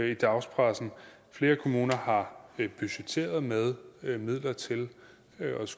i dagspressen flere kommuner har budgetteret med med midler til